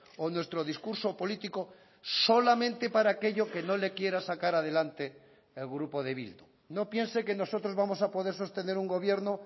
o nuestro discurso político solamente para aquello que no le quiera sacar adelante el grupo de bildu no piense que nosotros vamos a poder sostener un gobierno